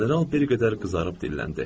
General bir qədər qızarıb dilləndi.